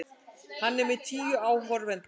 Hann er með tíu áhorfendur.